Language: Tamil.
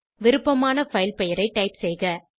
விருப்பமான பைல் பெயரை டைப் செய்க